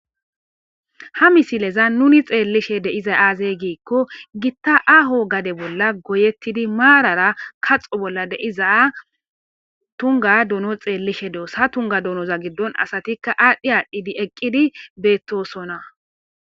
ha misileza nuni xeellishe de7iza aaze giikko gitta aho gade bolla goyettidi maarara kaxo bolla de7iza tunga dono xeellishe doos ha tunga donoza giddon asatikka aadhdhi aadhdhidi eqqidi beettosona.